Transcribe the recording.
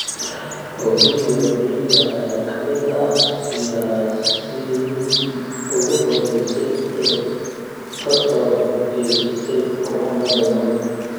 Oginga Odinga ayaa ka mid ahaa siyaasiyiintii ugu horeysay ee ka soo horjeestay xukuumadda Moi.